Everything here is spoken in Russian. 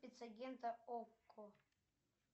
спецагента окко